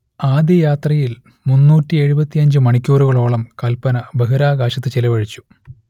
ആദ്യയാത്രയിൽ മുന്നൂറ്റിയെഴുപത്തിയഞ്ച് മണിക്കൂറുകളോളം കൽപന ബഹിരാകാശത്തു ചിലവഴിച്ചു